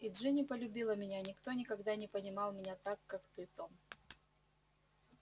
и джинни полюбила меня никто никогда не понимал меня так как ты том